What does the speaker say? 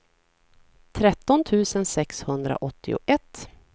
tretton tusen sexhundraåttioett